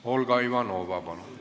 Olga Ivanova, palun!